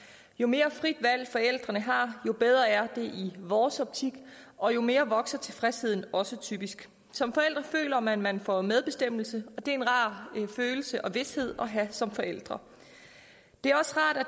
jo mere frit valg forældrene har jo bedre er det i vores optik og jo mere vokser tilfredsheden også typisk som forældre føler man at man får medbestemmelse og det er en rar følelse og vished at have som forældre det